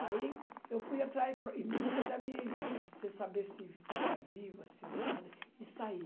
Aí eu fui atrás, para, em busca da minha irmã, sem saber se estava viva, se nada, e saí.